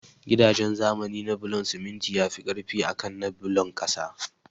Gidaje zamani na bulon siminti yafi ƙarfi akan na bulon ƙasa